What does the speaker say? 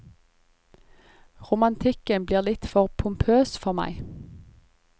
Romantikken blir litt for pompøs for meg.